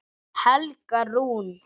Helga Rún.